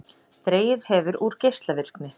Dregið hefur úr geislavirkni